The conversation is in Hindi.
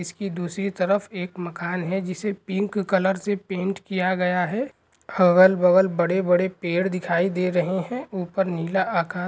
इसकी दूसरी तरफ एक मकान है जिसे पिंक कलर से पेंट किया गया हैं अगल बगल बड़े-बड़े पेड़ दिखाई दे रहे है ऊपर नीला आकाश --